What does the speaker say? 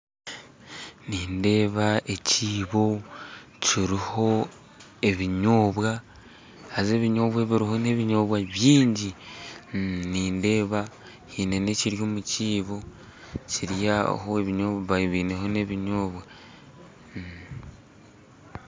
Nindeeba ekiibo kiruho ebinyobwa haza ebinyobwa ebiruho n'ebinyobwa byingi nindeeba hine nekiri omukiibo Kiri aho ebinyobwa babaire bineho n'ebinyobwa.